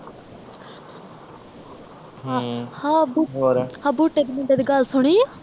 ਹਮ ਆਹ ਬੂਟ ਹੋਰ ਆ ਬੂਟੇ ਦੇ ਮੁੰਡੇ ਦੀ ਗੱਲ ਸੁਣਿ ਆ